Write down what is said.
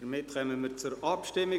Somit kommen wir zur Abstimmung.